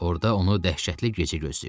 Orda onu dəhşətli gecə gözləyirdi.